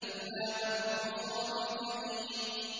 إِلَّا مَنْ هُوَ صَالِ الْجَحِيمِ